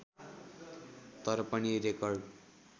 तर पनि रेकर्ड